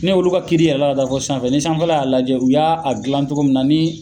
Ne olu ka kiiri yɛlɛla ka taa fo sanfɛ ni sanfɛfa y'a lajɛ u y'a gilan cogoya min na ni